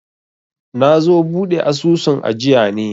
nazo buɗe asusun ajiya ne